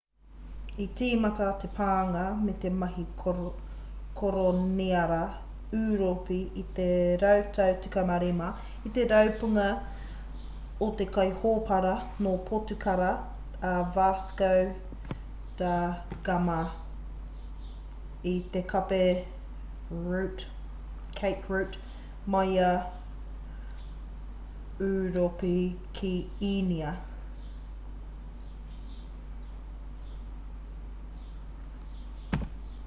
i tīmata te pānga me te mahi koroniara ūropi i te rautau 15 i te rapunga o te kaihōpara nō potukara a vasco da gama i te cape route mai i ūropi ki īnia